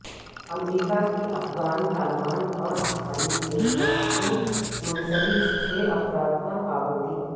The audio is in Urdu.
امریکہ کی افغان طالبان اور حقانی نیٹ ورک سے منسلک چھ افراد پر پابندی